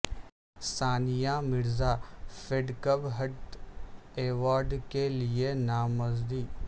ثانیہ Mirza Fed Cup heart award کے لئے نامزد